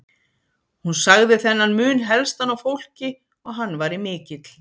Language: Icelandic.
Hún sagði þennan mun helstan á fólki og hann væri mikill.